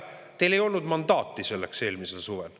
Teil ei olnud mandaati selleks eelmisel suvel.